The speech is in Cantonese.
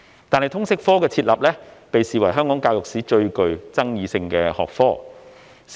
然而，通識科被視為香港教育史上最具爭議性的學科。